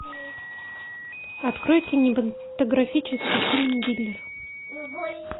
открой кинематографический фильм дилер